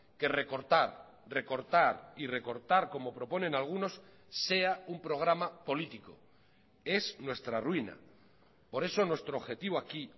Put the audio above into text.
que recortar recortar y recortar como proponen algunos sea un programa político es nuestra ruina por eso nuestro objetivo aquí